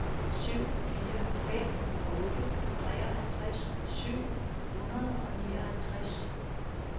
syv fire fem otte treoghalvtreds syv hundrede og nioghalvtreds